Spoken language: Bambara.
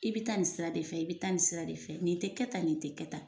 I bɛ taa nin sira de fɛ i bɛ taa nin sira de fɛ nin tɛ kɛ tan nin tɛ kɛ tan.